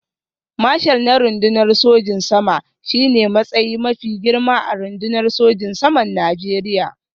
Marshal na rundunar sojin sama shi ne matsayi mafi girma a rundunar sojin saman Najeriya